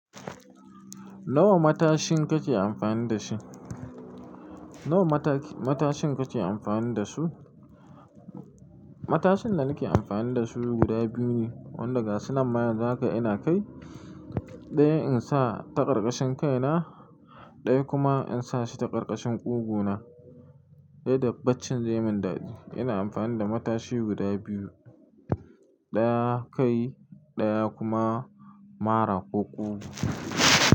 Nawa matashin kake amfani da shi? Nawa mataki, matashin kake amfani da su? Matashin da nake amfani da su guda biyu ne, wanda ga su nan ma yanzu haka ina kai. Ɗaya in sa ta ƙarƙashin kai na, ɗaya kuma in sa shi ta ƙarƙashin ƙugu na. Ta yadda baccin zai min dadi. Ina amfani da matashi guda biyu, ɗaya kai, ɗaya kuma mara ko ƙugu.